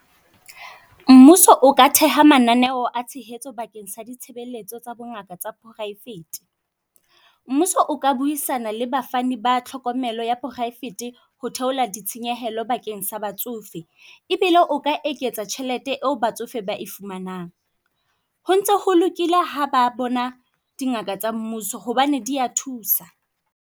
Mmuso o ka theha mananeo a tshehetso bakeng sa ditshebeletso tsa bongaka tsa poraefete. Mmuso o ka buisana le bafani ba tlhokomelo ya poraefete ho theola ditshenyehelo bakeng sa batsofe, ebile o ka eketsa tjhelete eo batsofe ba e fumanang. Ho ntse ho lokile ha ba bona dingaka tsa mmuso, hobane dia thusa.